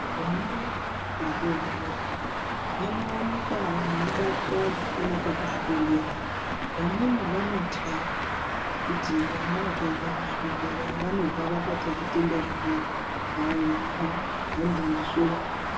Vana vedu vadodori vanowanikwa veibatwa zvakanaka kuzvibhendlera. Vamweni vanotya kuti vana vakaenda kuzvibhendlera vanobva vabata zvitenda zvimweni. Haiwa, handizvo.